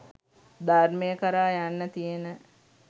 ධර්මය කරා යන්න තියෙන